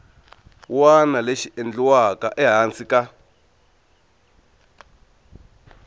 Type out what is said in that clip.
wana lexi endliwaka ehansi ka